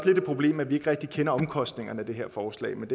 lidt et problem at vi ikke rigtig kender omkostningerne af det her forslag men